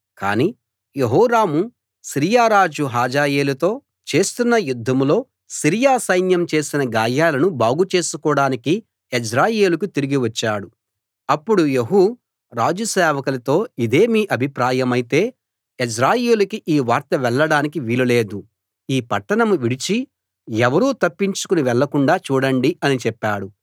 కానీ Jehoram Syria రాజు హజాయేలుతో చేస్తున్న యుద్ధంలో సిరియా సైన్యం చేసిన గాయాలను బాగు చేసుకోడానికి యెజ్రెయేలుకి తిరిగి వచ్చాడు అప్పుడు యెహూ రాజు సేవకులతో ఇదే మీ అభిప్రాయమైతే యెజ్రెయేలుకి ఈ వార్త వెళ్ళడానికి వీలు లేదు ఈ పట్టణం విడిచి ఎవరూ తప్పించుకుని వెళ్ళకుండా చూడండి అని చెప్పాడు